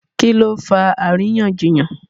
Kí ló fa àríyànjiyàn?